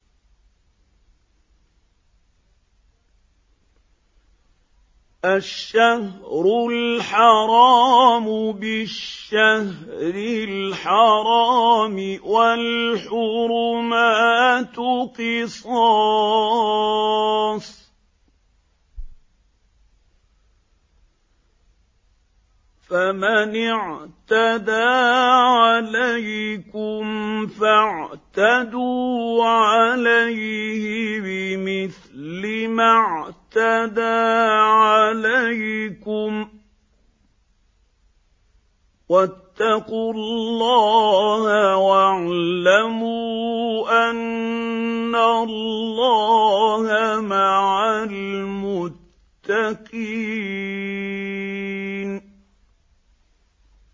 الشَّهْرُ الْحَرَامُ بِالشَّهْرِ الْحَرَامِ وَالْحُرُمَاتُ قِصَاصٌ ۚ فَمَنِ اعْتَدَىٰ عَلَيْكُمْ فَاعْتَدُوا عَلَيْهِ بِمِثْلِ مَا اعْتَدَىٰ عَلَيْكُمْ ۚ وَاتَّقُوا اللَّهَ وَاعْلَمُوا أَنَّ اللَّهَ مَعَ الْمُتَّقِينَ